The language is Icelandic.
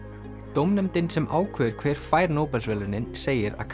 dómnefndin sem ákveður hver fær Nóbelsverðlaunin segir að